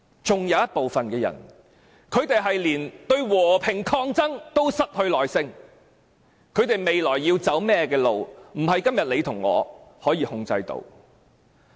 還有一部分人對和平抗爭都失去耐性，他們未來要走甚麼路，不是你和我可以控制的。